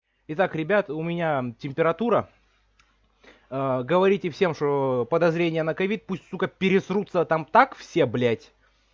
итак ребята у меня температура говорите всем что подозрение на ковид пусть сука испугаются там так все блять